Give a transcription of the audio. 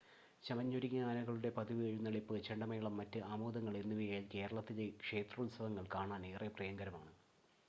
ചമഞ്ഞൊരുങ്ങിയ ആനകളുടെ പതിവ് എഴുന്നള്ളിപ്പ്, ചെണ്ടമേളം, മറ്റ് ആമോദങ്ങൾ എന്നിവയാൽ കേരളത്തിലെ ക്ഷേത്രോത്സവങ്ങൾ കാണാൻ ഏറെ പ്രിയങ്കരമാണ്